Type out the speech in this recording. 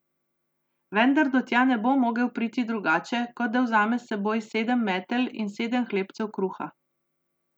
Vendar do tja ne bo mogel priti drugače, kot da vzame s seboj sedem metel in sedem hlebcev kruha.